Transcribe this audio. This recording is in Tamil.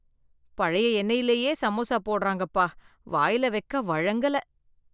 பழைய எண்ணெயிலேயே சமோசா போடறாங்கப்பா, வாயில வெக்க வழங்கல.